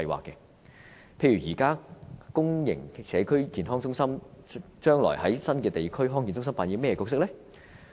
例如現時公營社區健康中心將來在新的地區康健中心扮演甚麼角色呢？